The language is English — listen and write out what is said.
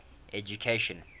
education